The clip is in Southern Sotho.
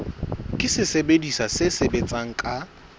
ke sesebediswa se sebetsang ka